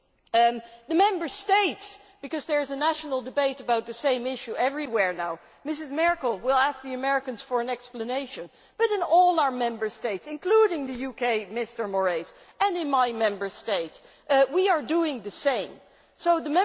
As for the Member States because there is national debate about the same issue everywhere now Ms Merkel will ask the Americans for an explanation, but in all our Member States, including the UK, Mr Moraes, and in my Member State, we are doing the same thing.